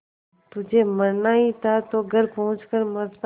तुझे मरना ही था तो घर पहुँच कर मरता